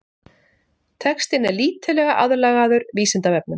textinn er lítillega aðlagaður vísindavefnum